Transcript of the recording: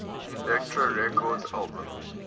elektra records albums